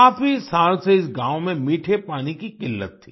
काफी साल से इस गाँव में मीठे पानी की किल्लत थी